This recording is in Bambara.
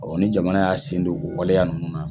ni jamana y'a sen don o waleya ninnu na.